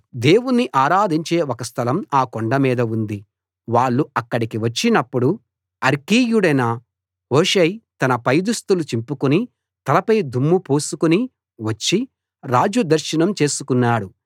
దేవుణ్ణి ఆరాధించే ఒక స్థలం ఆ కొండమీద ఉంది వాళ్ళు అక్కడికి వచ్చినప్పుడు అర్కీయుడైన హూషై తన పైదుస్తులు చింపుకుని తలపై దుమ్ము పోసుకుని వచ్చి రాజు దర్శనం చేసుకున్నాడు